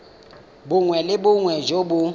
bongwe le bongwe jo bo